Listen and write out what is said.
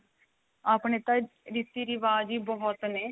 ਆਪਣੇ ਤਾਂ ਰੀਤੀ ਰਿਵਾਜ਼ ਈ ਬਹੁਤ ਨੇ